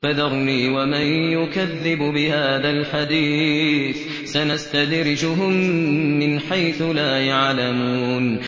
فَذَرْنِي وَمَن يُكَذِّبُ بِهَٰذَا الْحَدِيثِ ۖ سَنَسْتَدْرِجُهُم مِّنْ حَيْثُ لَا يَعْلَمُونَ